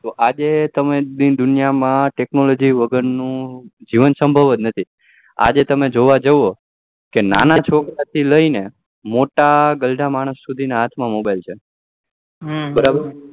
આજે તો તમે દિન દુનિયા માં technology વગર નું જીવન સંભવ જ નથી આજે તમે જોવા જાવ કે નાના છોકરા થી લઇ ને મોટા ગરડા માણસ સુધી હાથ mobile માં છે બરાબર